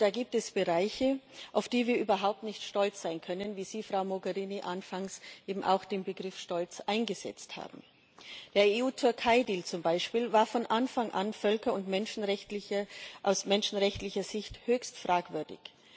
Und da gibt es Bereiche, auf die wir überhaupt nicht stolz sein können, wie Sie, Frau Mogherini, anfangs eben auch den Begriff stolz eingesetzt haben. Der EU-Türkei-Deal zum Beispiel war von Anfang an aus völker und menschenrechtlicher Sicht höchst fragwürdig.